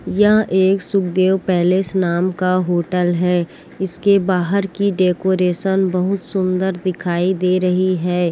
यह एक सुखदेव पैलेस नाम का होटल है इस के बाहर की डेकोरेशन बहुत सुन्दर दिखाई दे रही है।